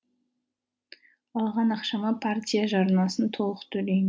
алған ақшама партия жарнасын толық